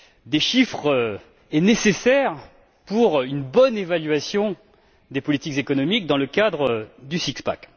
des chiffres est nécessaire pour une bonne évaluation des politiques économiques dans le cadre du six pack